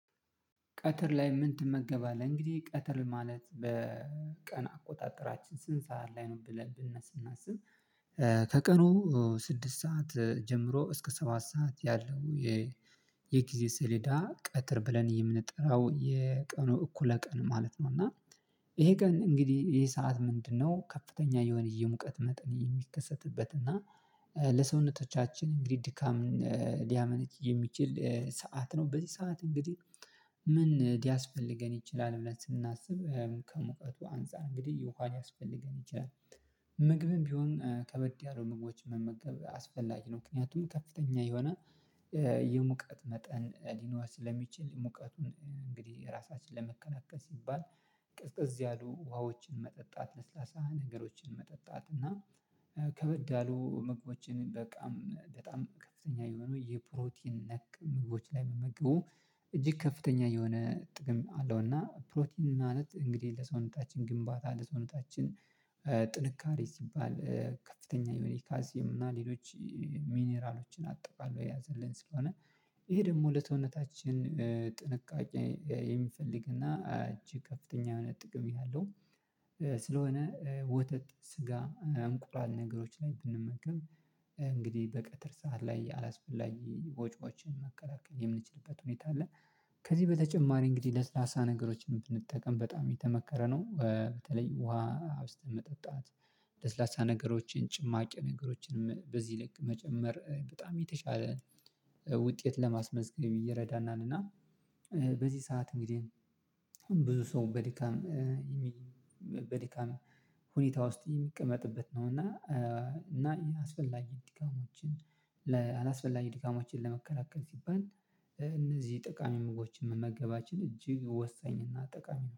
ቀትር ላይ ምን ትመገባለህ እንግዲህ ቀትር ማለት በቀን አቆጣጠራችን ስንት ሰዓት ላይ ነው ብለን ብናሰናስን? ከቀኑ ስድስት ሰዓት ጀምሮ እስከ ሰባት ሰዓት ያለው። የጊዜ ሰሌዳ ቀትር ብለን የምንጠራው የቀኑ እኩለ ቀን ማለት ነው። እና ይሄ ቀን እንግዲህ ይሄ ሰዓት ምንድን ነው ከፍተኛ የሆነ የሙቀት መጠን የሚከሰትበት እና ለሰውነቶቻችን እንግዲህ ድካምን ሊያመነጭ የሚችል ሰዓት ነው። በዚህ ሰዓት እንግዲህ ምን ሊያስፈልገን ይችላል ብለን ስናስብ ከመውጣቱ አንፃር እንግዲህ የውሃ ሊያስፈልገን ይችላል። ምግብም ቢሆን ከበድ ያሉ ምግቦች መመገብ አስፈላጊ ነው። ምክንያቱም ከፍተኛ የሆነ የሙቀት መጠን ሊኖር ስለሚችል ሙቀቱን እንግዲህ ራሳችንን ለመከላከል ሲባል ቅዝቅዝ ያሉ ውሃዎችን መጠጣት ለስላሳ ነገሮችን መጠጣት እና ከበድ ያሉ ምግቦችን በቃም በጣም ከፍተኛ የሆኑ የፕሮቲን ነክ ምግቦች ላይ መመገቡ እጅግ ከፍተኛ የሆነ ጥቅም አለው። እና ፕሮቲን ማለት እንግዲህ ለሰውነታችን ግንባታ ለሰውነታችን ጥንካሬ ሲባል ከፍተኛ የሆነ ካልሴም እና ሌሎች ሚኒራሎችን አጠቃሎ የያዘልን ስለሆነ ይሄ ደግሞ ለሰውነታችን ጥንቃቄ የሚፈልግና እጅግ ከፍተኛ የሆነ ጥቅም ያለው። ስለሆነ ወተት ስጋ እንቁላል ነገሮች ላይ ብንመገብ እንግዲህ በቀጥር ሰዓት ላይ አላስፈላጊ ወጪዎችን መከላከል የምንችልበት ሁኔታ አለ። ከዚህ በተጨማሪ እንግዲህ ለስላሳ ነገሮችን ብንጠቀም በጣም የተመከረ ነው። በተለይ ውሃ አውስተን መጠጣት ለስላሳ ነገሮችን ጭማቂ ነገሮችንም በዚህ ልክ መጨመር በጣም የተሻለ ውጤት ለማስመዝገብ ይረዳናል። እና በዚህ ሰዓት እንግዲህ ብዙ ሰው በድካም ሁኔታ ውስጥ የሚቀመጥበት ነው። እና እና ይህ አስፈላጊ ድካሞችን ለአላስፈላጊ ድካሞችን ለመከላከል ሲባል እነዚህ ጠቃሚ ምግቦችን መመገባችን እጅግ ወሳኝና ጠቃሚ ነው